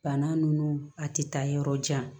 Bana nunnu a ti taa yɔrɔ jan